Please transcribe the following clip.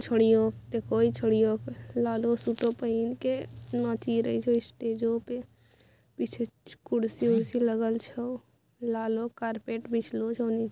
छोरियों कई छोरियों लालो सुतो पहेन के नाची रही छो स्टेजो पे पीछे खुर्सी वुर्शी लागे छे लालो करपेद बिच्लो छ निचे--